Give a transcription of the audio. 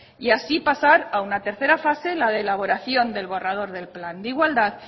y así pasar a una tercera fase la de elaboración del borrador del plan de igualdad